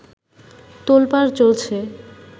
তোলপাড় চলছে